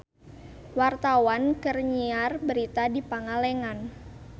Wartawan keur nyiar berita di Pangalengan